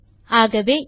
அவசியம் பார்க்க வேண்டும்